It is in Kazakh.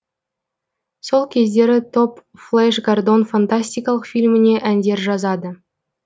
сол кездері топ флэш гордон фантастикалық фильміне әндер жазады